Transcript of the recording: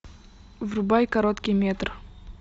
врубай короткий метр